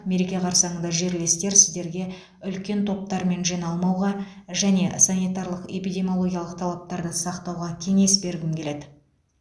мереке қарсаңында жерлестер сіздерге үлкен топтармен жиналмауға және санитарлық эпидемиологиялық талаптарды сақтауға кеңес бергім келеді